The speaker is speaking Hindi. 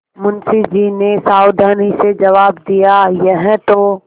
मुंशी जी ने सावधानी से जवाब दियायह तो